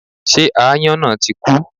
Ṣé aáyọ́n náà tí kú?